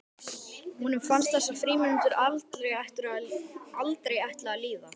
Honum fannst þessar frímínútur aldrei ætla að líða.